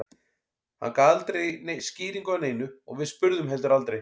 Hann gaf aldrei skýringu á neinu og við spurðum heldur aldrei.